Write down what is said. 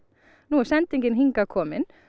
nú er sendingin hingað komin